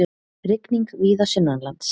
Rigning víða sunnanlands